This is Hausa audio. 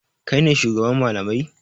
Kai ne shugaban malamai?